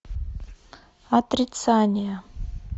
отрицание